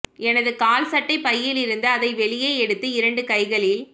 எனது கால் சட்டைப் பையிலிருந்து அதை வெளியே எடுத்து இரண்டு கைகளில்